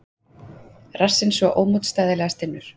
Rassinn svo ómótstæðilega stinnur.